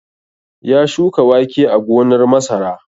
Ya shuka wake a gonar masara.